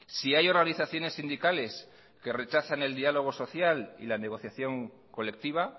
si hay organizaciones sindicales que rechazan el diálogo social y la negociación colectiva